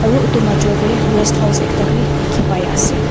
aru utu majo deh rest house ekta bi dikhi pai asey.